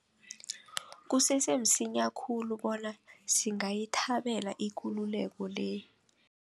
Kusese msinya khulu bona singayithabela ikululeko le.